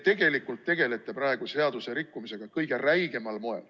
Te tegelete praegu seaduse rikkumisega kõige räigemal moel.